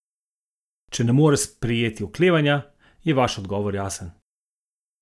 Če ne more sprejeti oklevanja, je vaš odgovor jasen.